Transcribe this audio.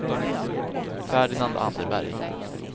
Ferdinand Anderberg